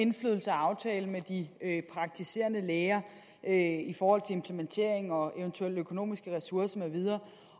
indflydelse af og aftale med de praktiserende læger i forhold til implementering og eventuelle økonomiske ressourcer med videre